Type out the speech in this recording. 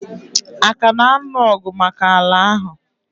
Aka na anụ ọgụ maka ala ahụ?